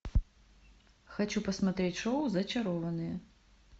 хочу посмотреть шоу зачарованные